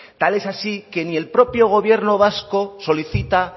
tal es así que ni el propio gobierno vasco solicita